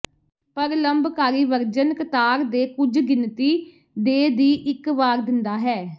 ਪਰ ਲੰਬਕਾਰੀ ਵਰਜਨ ਕਤਾਰ ਦੇ ਕੁਝ ਗਿਣਤੀ ਦੇ ਦੀ ਇੱਕ ਵਾਰ ਦਿੰਦਾ ਹੈ